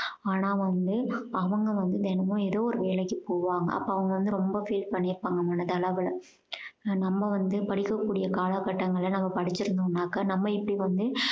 ஆனா வந்து அவங்க வந்து தினமும் ஏதோ ஒரு வேலைக்கு போவாங்க அப்போ அவங்க வந்து ரொம்ப feel பண்ணியிருப்பாங்க மனதளவுல நம்ம வந்து படிக்க கூடிய கால கட்டங்கள்ல நம்ம படிச்சிருந்தோம்னாக்கா நம்ம இப்படி வந்து